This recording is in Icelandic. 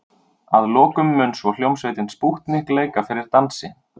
Að lokum mun svo hljómsveitin Spútnik leika fyrir dansi.